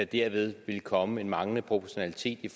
derved vil komme en manglende proportionalitet i